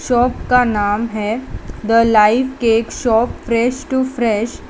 shop का नाम है the live cake shop fresh to fresh --